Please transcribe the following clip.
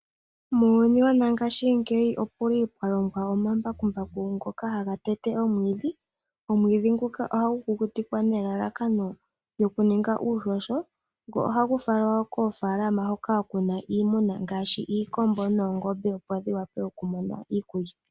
Muuyuni woshinanena omuli mwalongwa iilongomwa ngaashi omambakumbaku ngoka haga tete omwiidhi. Omwiidhi nguka ohagu kukutikwa nelalakano lyokuninga uuhoho, ohagu faalelwa koofaalama hoka kuna iimuna ngaashi iikombo noongombe opo dhiwape okumona iikulya.